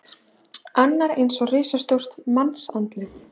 Annar eins og risastórt mannsandlit.